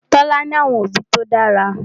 Tola ní àwọn òbí tó dára.